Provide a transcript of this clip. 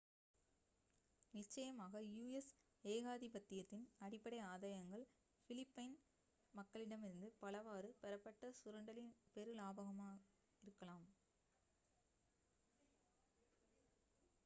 நிச்சயமாக u.s. ஏகாதிபத்தியத்தின் அடிப்படை ஆதாயங்கள் பிலிப்பைன் மக்களிடமிருந்து பலவாறு பெறப்பட்ட சுரண்டலின் பெரு இலாபமாக இருக்கலாம்